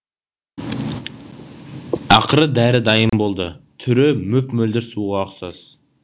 ақыры дәрі дайын болды түрі мөп мөлдір суға ұқсас